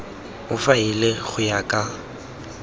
o faele go ya ka